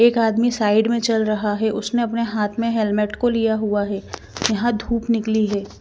एक आदमी साइड में चल रहा है। उसने अपने हाथ में हेलमेट को लिया हुआ है। यहां धूप निकली है।